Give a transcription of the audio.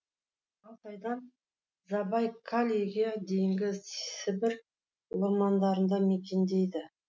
алтайдан забайкальеге дейінгі сібір ормандарында мекендейді